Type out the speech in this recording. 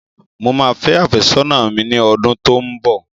Mo máa fẹ àfẹ́sọ̀na mi ní odún tó ní bó.